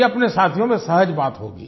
ये अपने साथियों मे शायद बात होगी